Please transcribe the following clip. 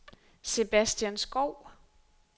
Sebastian Schou